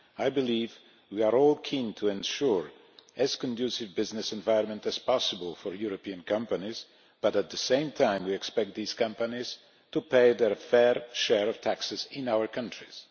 I believe we are all keen to ensure as conducive a business environment as possible for European companies, but at the same time we expect these companies to pay their fair share of taxes in our countries.